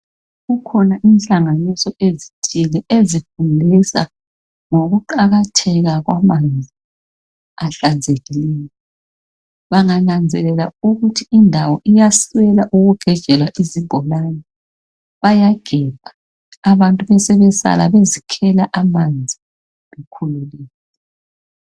Kukhona inhlanganiso ezithole ezifundisa ngokuqakatheka kwamanzi ahlanzekileyo bangananzelela ukuthi indawo iyasiselela ukugejelwa izibholani bayagebha abantu bebesebesala bezigebhela amanzi bekhululekile